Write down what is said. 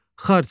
Xartia.